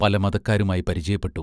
പല മതക്കാരുമായി പരിചയപ്പെട്ടു.